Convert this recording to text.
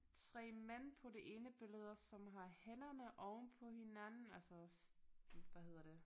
3 mænd på det ene billede som har hænderne ovenpå hinanden altså hvad hedder det